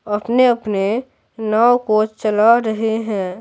अपने-अपने नाव को चला रहे हैं।